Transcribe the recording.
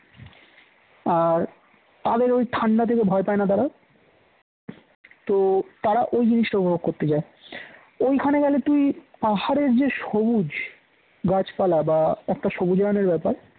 তাদের ওই ঠান্ডা দেখে ভয় পায় না তারা তো তারা ওই জিনিসটা উপভোগ করতে যায় ঐখানে গেলে তুই পাহাড়ের যে সবুজ গাছপালা বা একটা সবুজ রঙের ব্যাপার